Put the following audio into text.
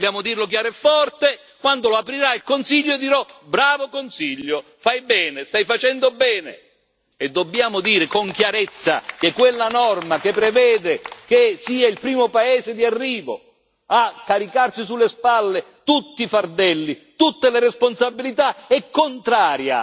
Vogliamo dirlo chiaro e forte quando l'aprirà il Consiglio, dirò Bravo Consiglio, fai bene, stai facendo bene e dobbiamo dire con chiarezza che quella norma che prevede che sia il primo paese di arrivo a farsi carico di tutti i fardelli e di tutte le responsabilità è contraria